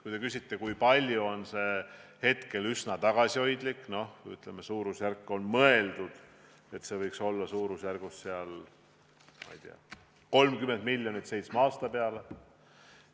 Kui te küsite, kui palju Eesti võiks saada, siis on see summa hetkel üsna tagasihoidlik – see võiks olla, ma ei tea, suurusjärgus 30 miljonit seitsme aasta peale.